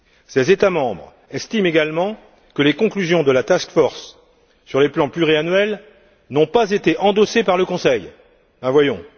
Ces États membres estiment également que les conclusions de la task force sur les plans pluriannuels n'ont pas été endossées par le Conseil ben voyons!